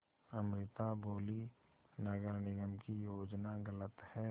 अमृता बोलीं नगर निगम की योजना गलत है